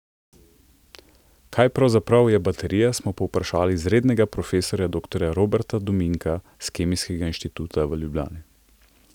Kaj pravzaprav je baterija smo povprašali izrednega profesorja doktorja Roberta Dominka s Kemijskega inštituta v Ljubljani.